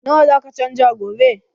Nawa zaka canja gobe?